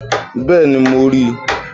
Bẹ́ẹ̀ni, mo rí i